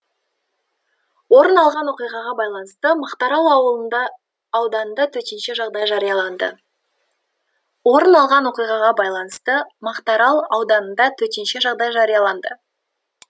орын алған оқиғаға байланысты мақтаарал ауданында төтенше жағдай жарияланды орын алған оқиғаға байланысты мақтаарал ауданында төтенше жағдай жарияланды